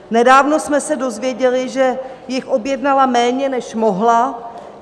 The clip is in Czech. Nedávno jsme se dozvěděli, že jich objednala méně, než mohla.